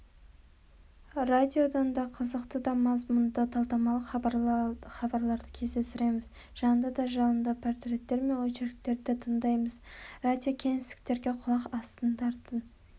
радиодан да қызықты да мазмұнды талдамалық хабарларды кездестіреміз жанды да жалынды портреттер мен очерктерді тыңдаймыз радиокеңестерге құлақ асатындардың